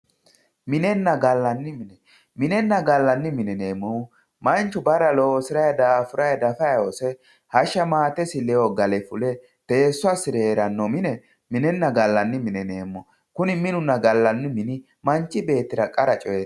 minenna gallanni mine minenna gallanni mine yineemmohu manchu barra loosiranni daafuranni dafanni hose hashsha maatesi ledo gale fule teesso assire heeranno mine minenna gallanni mine yineemmo kuni minunna kallanni mini manchi beettira qara coyeeti.